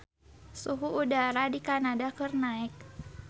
Suhu udara di Kanada keur naek